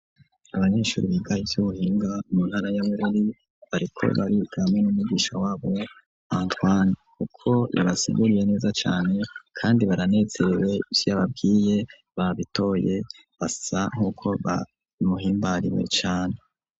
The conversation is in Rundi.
Abanyeshuri biga ivyubuhinga mu ntara ya Bururi bariko bariga hamwe n'umwigisha wabo Antoine kuko yabasiguriye neza cane kandi baranezerewe ivyo yababwiye babitoye basa nkuko bamuhimbariwe cane.